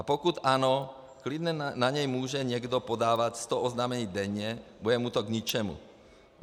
A pokud ano, klidně na něj může někdo podávat sto oznámení denně, bude mu to k ničemu.